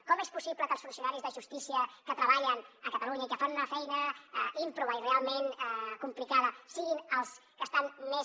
com és possible que els funcionaris de justícia que treballen a catalunya i que fan una feina ímproba i realment complicada siguin els que estan més